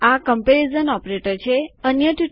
આ comparison operator એટલે કે સરખામણી પ્રચાલક છે